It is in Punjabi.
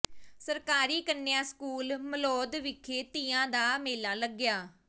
ਸਰਕਾਰੀ ਕੰਨਿਆ ਸਕੂਲ ਮਲੌਦ ਵਿਖੇ ਤੀਆਂ ਦਾ ਮੇਲਾ ਲਗਾਇਆ